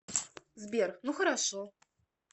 сбер ну хорошо